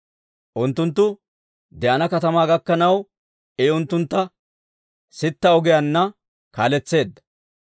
Unttunttu de'ana katamaa gakkanaw, I unttuntta sitta ogiyaanna kaaletseedda.